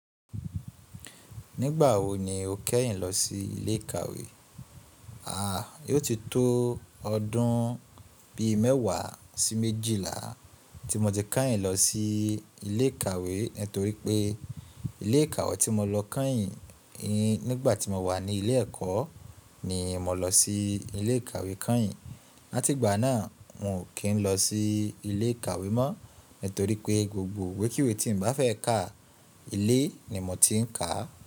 Nígbà wo ni o kẹ́yìn lọ sí ilé ìkàwé? A, yóò ti tó ọdún bí mẹ́wàá sí méjìlá tí mo ti kẹ́yìn lọ sí ilé ìkàwé, nítorí pé ilé ìkàwé tí mo lọ kẹ́yìn nígbà tí mo wà ní ilé ẹ̀kọ́ ni mo lọ sí ilé ìkàwé kẹ́yìn. Látìgbà náà n ò kí n lọ sí ilé ìkàwé mọ́, nítorí pé gbogbo ìwé kíwé tí n bá fẹ́ kà, ilé ni mo ti ń kà á.